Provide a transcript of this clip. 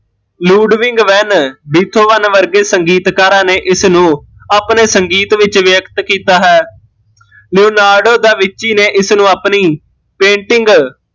Ludwig van Beethoven ਵਰਗੇ ਸੰਗੀਤਕਾਰਾਂ ਨੇ ਇਸਨੂ ਅਪਣੇ ਸੰਗੀਤ ਵਿੱਚ ਵਿਅਕਤ ਕੀਤਾ ਹੈ ਨੇ ਇਸਨੂ ਆਪਣੀ painting